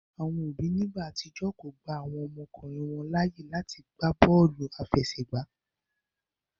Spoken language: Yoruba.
Àwọn òbí ní igbà àtijọ́ kọ gbà àwọn ọmọkùnrin wọn láàyè láàti gbàbóòlù afẹsẹgba